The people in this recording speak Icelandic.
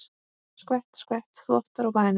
Skvett, skvett, þvottar og bænir.